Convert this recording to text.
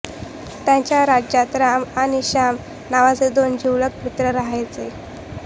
त्याच्या राज्यात राम आणि श्याम नावाचे दोन जीवलग मित्र राहायचे